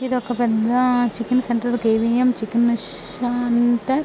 ఇది ఒక పెద్ద chicken centre . KVM chicken centre .